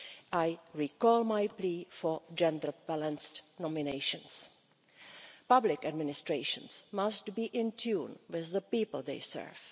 I reiterate my plea for gender balanced nominations. Public administrations must be in tune with the people they serve.